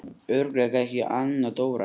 Örugglega ekki Anna Dóra?